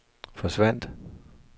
forsvandt